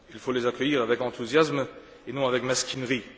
Il faut les accueillir avec enthousiasme et non avec mesquinerie.